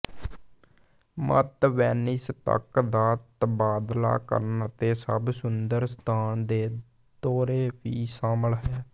ਮਤ ਵੇਨਿਸ ਤੱਕ ਦਾ ਤਬਾਦਲਾ ਕਰਨ ਅਤੇ ਸਭ ਸੁੰਦਰ ਸਥਾਨ ਦੇ ਦੌਰੇ ਵੀ ਸ਼ਾਮਲ ਹੈ